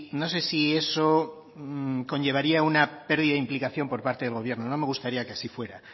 no sé si eso conllevaría una pérdida de implicación por parte del gobierno no me gustaría que así fuera